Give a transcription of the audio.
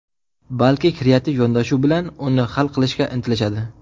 balki kreativ yondashuv bilan uni hal qilishga intilishadi.